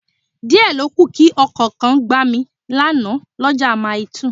Díẹ̀ lókù kí Ọkọ̀ kan gbá mi lánàá l'ọ́ja Maili2